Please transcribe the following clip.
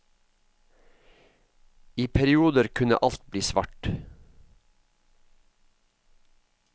I perioder kunne alt bli svart.